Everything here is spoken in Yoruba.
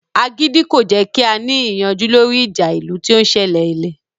Agídí kò jẹ́ kí a ní ìyanjú lórí ìjà ìlú tí ó ń sẹlẹ̀ lẹ